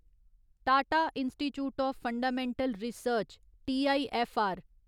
Tata institute of fundamental research TIFR